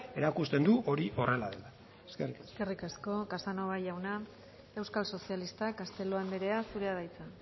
erakusten du hori horrela dela eskerrik asko eskerrik asko casanova jauna euskal sozialistak castelo andrea zurea da hitza